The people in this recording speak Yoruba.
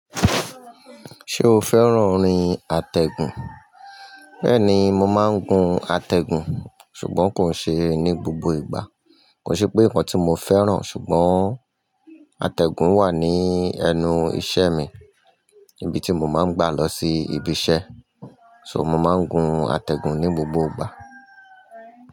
Ṣé o fẹ́ràn orin àtẹ̀gùn? Bẹ́ẹ̀ni, mo máa ń gun àtẹ̀gùn ṣùgbọ́n kò n ṣe ní gbogbo ìgbà. Kò ṣe pé nǹkan tí mo fẹ́ràn ṣùgbọ́n àtẹ̀gùn wà ní ẹnu iṣẹ́ mi, ibi tí mo máa ń gba lọ sí ibi iṣẹ́. So, mo máa ń gun àtẹ̀gùn ní gbogbo ìgbà.